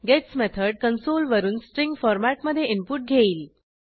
gates method console वरून string फॉरमॅटमधे input घेईल